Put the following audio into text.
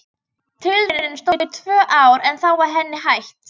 Tilraunin stóð í tvö ár en þá var henni hætt.